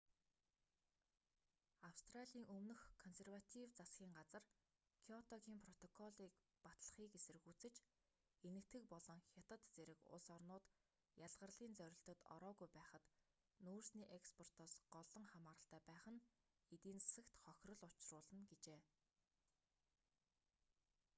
австралийн өмнөх консерватив засгийн газар кёотогийн протоколыг батлахыг эсэргүүцэж энэтхэг болон хятад зэрэг улс орнууд ялгарлын зорилтод ороогүй байхад нүүрсний экспортоос голлон хамааралтай байх нь эдийн засагт хохирол учруулна гэжээ